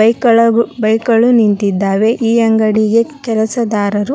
bike ಗಳ bike ಗಳು ನಿಂತಿದ್ದಾವೆ ಈ ಅಂಗಡಿಗೆ ಕೆಲಸದಾರರು --